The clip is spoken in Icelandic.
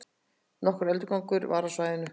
Nokkur öldugangur var á svæðinu